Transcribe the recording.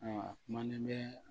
Ayiwa kumanen bɛ